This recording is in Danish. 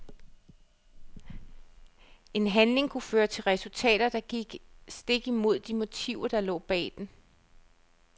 En handling kunne føre til resultater, der gik stik imod de motiver der lå bag den.